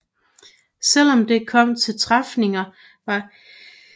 Selv om det kom til træfninger var ingen af flåderne i stand til at overvinde den anden